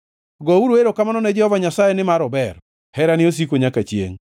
Gouru erokamano ne Jehova Nyasaye, nimar ober. Herane osiko nyaka chiengʼ.